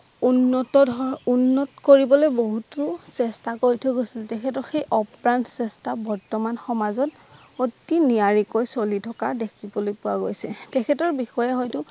উন্নত ধৰ্ম উন্নত কৰিবলৈ বহুতো চেষ্টা কৰি থৈ গৈছিল তেখেতৰ সেই আপ্ৰাণ চেষ্টা বৰ্তমান সমাজত অতি নিয়াৰিকৈ চলি থকা দেখিবলৈ পোৱা গৈছে তেখেতৰ বিচৰা হয়তো